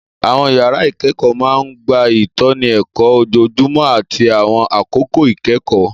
Àwọn yàrá ìkẹ́kọ̀ọ́ máa ń gba ìtọ́ni ẹ̀kọ́ ojoojúmọ́ àti àwọn àkókò ìkẹ́kọ̀ọ́